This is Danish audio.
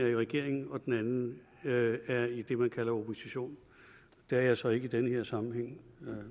i regering og den anden er i det man kalder opposition det er jeg så ikke i den her sammenhæng